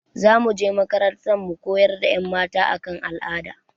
Za mu je makarantar mu koyar da ƴan mata a kan al'ada